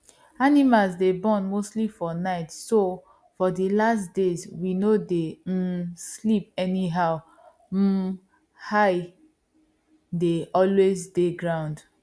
animal day born mostly for nightso for the last days we no day um sleep anyhow um eye day always day ground